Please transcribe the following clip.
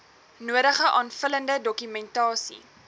nodige aanvullende dokumentasie